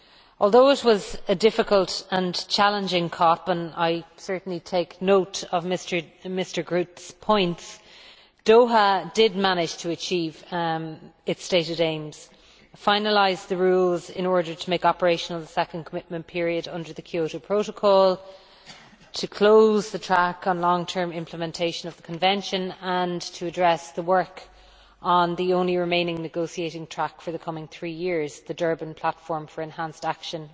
Although it was a difficult and challenging COP and I certainly take note of Mr Groote's points Doha did manage to achieve its stated aims, namely to finalise the rules in order to make operational the second commitment period under the Kyoto Protocol, to close the track on long term implementation of the Convention, and to address the work on the only remaining negotiating track for the coming three years, the Durban Platform for Enhanced Action